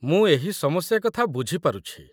ମୁଁ ଏହି ସମସ୍ୟା କଥା ବୁଝି ପାରୁଛି।